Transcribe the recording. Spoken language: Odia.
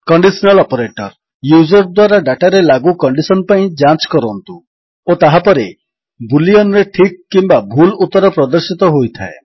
କଣ୍ଡିଶନାଲ୍ ଅପରେଟର୍ ୟୁଜର୍ ଦ୍ୱାରା ଡାଟାରେ ଲାଗୁ କଣ୍ଡିଶନ୍ ପାଇଁ ଯାଞ୍ଚ କରନ୍ତୁ ଓ ତାହାପରେ ବୁଲିୟନ୍ ରେ ଠିକ୍ କିମ୍ୱା ଭୁଲ୍ ଉତ୍ତର ପ୍ରଦର୍ଶିତ ହୋଇଥାଏ